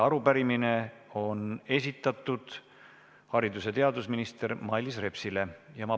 Arupärimine on esitatud haridus- ja teadusminister Mailis Repsile.